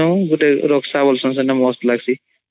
ଗୋଟେ ରକଶା ବସନ୍ ସେଟା ମସ୍ତ୍ ଲାଗସୀ